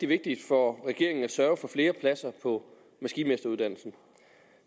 vigtigt for regeringen at sørge for flere pladser på maskinmesteruddannelsen